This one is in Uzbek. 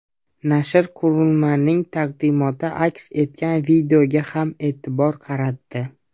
Nashr qurilmaning taqdimoti aks etgan videoga ham e’tibor qaratdi.